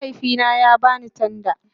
Mahaifina ya ba ni tanda